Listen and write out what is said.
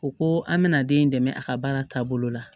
O ko an bɛna den in dɛmɛ a ka baara taabolo la